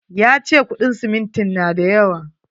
Ya ce kuɗin simintin na da yawa.